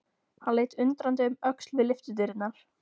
Hann leit undrandi um öxl við lyftudyrnar.